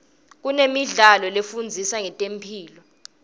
kunemidlalo lefundisa ngetemphilo